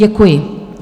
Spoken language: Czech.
Děkuji.